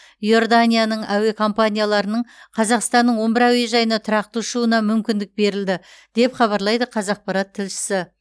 иорданияның әуе компанияларының қазақстанның он бір әуежайына тұрақты ұшуына мүмкіндік берілді деп хабарлайды қазақпарат тілшісі